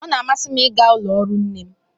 Ọ na-amasị m ịga ụlọ ọrụ nne m